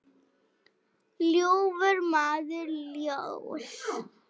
ljúfur maður ljóss.